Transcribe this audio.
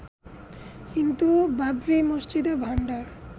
কিন্তু বাবরি মসজিদ ভাঙার